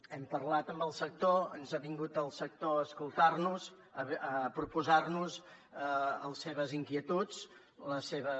hem parlat amb el sector ens ha vingut el sector a escoltar nos a proposar nos les seves inquietuds les seves